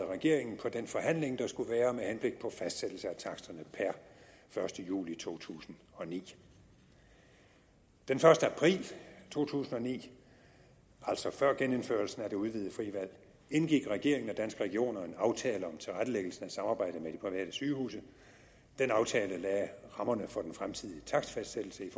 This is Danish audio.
regeringen på den forhandling der skulle være med henblik på fastsættelse af taksterne per første juli to tusind og ni den første april to tusind og ni altså før genindførelsen af det udvidede frie valg indgik regeringen og danske regioner en aftale om tilrettelæggelsen af samarbejdet med de private sygehuse den aftale lagde rammerne for den fremtidige takstfastsættelse i